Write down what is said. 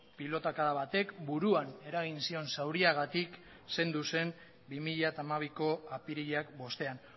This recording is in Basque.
pilotakada batek buruan eragin zion zauriagatik zendu zen bi mila hamabiko apirilak bostean